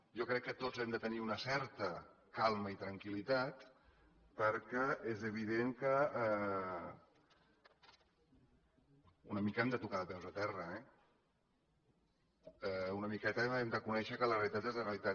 jo crec que tots hem de tenir una certa calma i tranquillitat perquè és evident que una mica hem de tocar de peus a terra eh una miqueta hem de conèixer que la realitat és la realitat